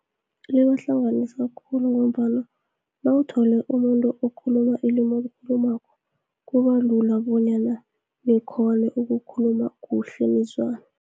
Liyabahlanganisa khulu, ngombana nawuthole umuntu okhuluma ilumi olikhulumako, kubulula bonyana nikghone ukukhuluma kuhle nizwane.